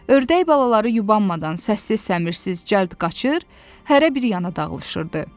Ördək balaları yubanmadan səssiz-səmirsiz cəld qaçır, hərə bir yana dağılışırdı.